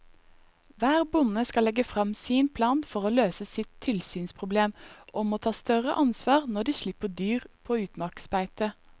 Hver bonde skal legge frem sin plan for å løse sitt tilsynsproblem og må ta større ansvar når de slipper dyr på utmarksbeite.